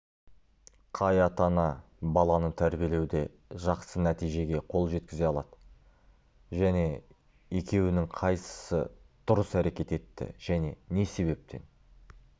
қай ата-ана баланы тәрбиелеуде жақсы нәтижеге қол жеткізе алады және екеуінің қайсысы дұрыс әрекет етті және не себептен